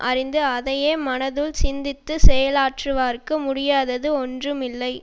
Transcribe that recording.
அறிந்து அதையே மனதுள் சிந்தித்து செயலாற்றுவார்க்கு முடியாதது ஒன்றும் இல்லை